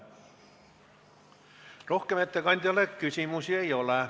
Ettekandjale rohkem küsimusi ei ole.